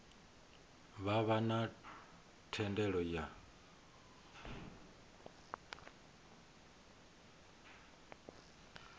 vha vha na thendelo ya